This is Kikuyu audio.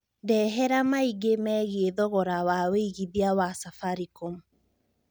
ndehera maĩngĩ meĩgĩe thogora wa wĩigĩthĩa wa safaricom